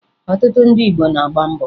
Ọtụtụ ndị Igbo na-agba mbọ